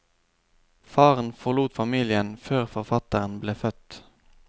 Faren forlot familien før forfatteren ble født.